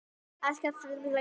Eskifjarðarseli